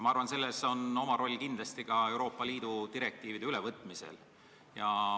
Ma arvan, et selles on oma roll kindlasti ka Euroopa Liidu direktiivide ülevõtmisel.